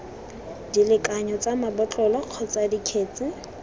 dilekanyo tsa mabotlolo kgotsa dikgetse